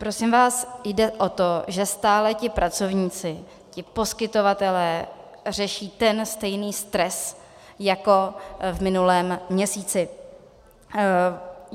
Prosím vás, jde o to, že stále ti pracovníci, ti poskytovatelé řeší ten stejný stres jako v minulém měsíci.